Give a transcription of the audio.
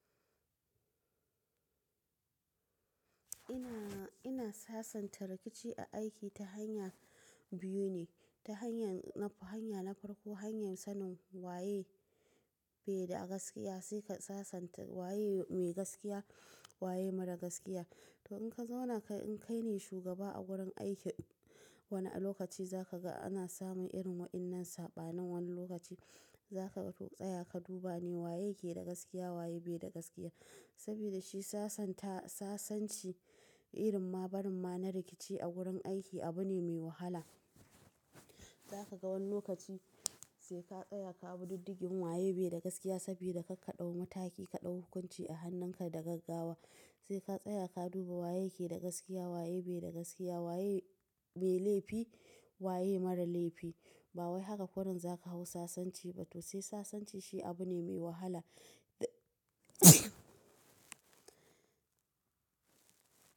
Ina, ina sasanta rikici a aiki ta hanya biyu ne, ta hanyar na hanya na farko hanya sanin waye keda a gaskiya sai ka sasanta waye mai gaskiya waye marar gaskiya. To in ka zauna ka in kai ne shugaba a wurin aiki wani lokaci za ka ga ana samu irin wa'innan saɓanin wani lokaci za ka ga to tsaya ka duba ne waye ke da gaskiya waye bai da gaskiya. Saboda shi sasanta sasanci irin ma barin ma na rikici a wurin aiki abu ne mai wahala. Za ka ga wani lokaci sai ka tsaya ka abu diddigin waye bai da gaskiya saboda ka ka ɗau mataki ka ɗau hukunci a hannun ka da gaggawa sai ka tsaya ka duba waye ke da gaskiya waye bai da gaskiya waye mai laifi waye mara laifi. Ba wai haka kurun za ka hau sasanci ba to sai sasanci shi abu ne mai wahala da.